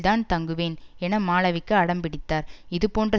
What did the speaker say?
தான் தங்குவேன் என மாளவிகா அடம்பிடித்தார் இது போன்ற